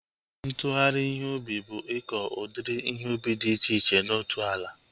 Ntụgharị ihe ubi bụ ịkọ udiri ihe ubi dị iche iche na otu ala